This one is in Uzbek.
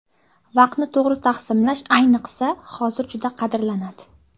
Vaqtni to‘g‘ri taqsimlash ayniqsa hozir juda qadrlanadi.